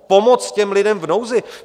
Pomoc těm lidem v nouzi.